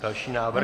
Další návrh.